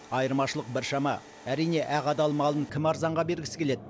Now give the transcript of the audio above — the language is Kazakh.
айырмашылық біршама әрине ақ адал малын кім арзанға бергісі келеді